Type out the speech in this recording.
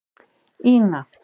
Ína